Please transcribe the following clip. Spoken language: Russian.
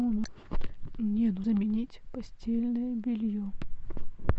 мне заменить постельное белье